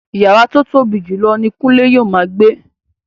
Yàrá tó tóbi jùlọ ni Kunle yóò máa gbé